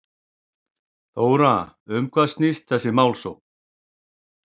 Þóra, um hvað snýst þessi málsókn?